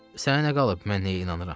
Sənə nə qalıb mən nəyə inanıram?